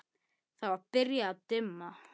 Hvað meira get ég sagt?